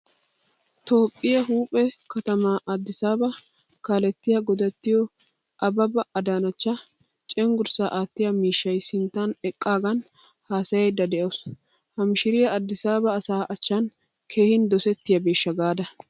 Toophphiyaa Huuphphpe kattama Addisaba kaalettiyaa godattiyo Ababa Adanecha cenggurssa attiyaa miishshay sinttan eqqagan haasayayida de'awusu. Ha miishiriyaa Addisaba asaa achchan keehin dosettiyabesha gaada?